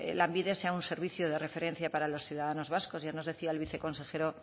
lanbide sea un servicio de referencia para los ciudadanos vascos ya nos decía el viceconsejero